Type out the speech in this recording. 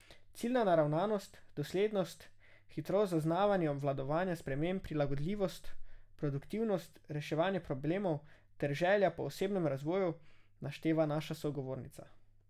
Ciljna naravnanost, doslednost, hitrost zaznavanja in obvladovanja sprememb, prilagodljivost, produktivnost, reševanje problemov ter želja po osebnem razvoju, našteva naša sogovornica.